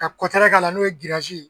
Ka kɔtɛrɛ k'a la n'o ye ye